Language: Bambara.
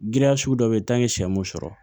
Giriya sugu dɔ be yen sɛ mun sɔrɔ